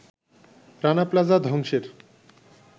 Rana Plaza ধ্বংসের